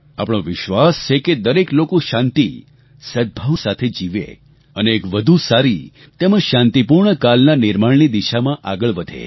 આપણો વિશ્વાસ છે કે દરેક લોકો શાંતિ સદભાવ સાથે જીવે અને એક વધુ સારી તેમજ શાંતિપૂર્ણ આવતીકાલનાં નિર્માણની દિશામાં આગળ વધે